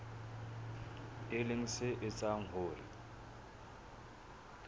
e leng se etsang hore